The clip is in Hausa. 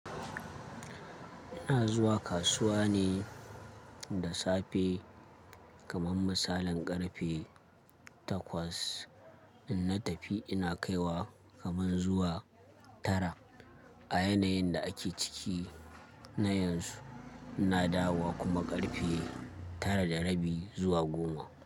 Ina zuwa kasuwa ne da safe kamar misalin ƙarfe takwas. In na tafi ina kaiwa kaman zuwa tara. A yanayin da ake ciki na yanzu ina dawowa kuma ƙarfe tara da rabi zuwa goma.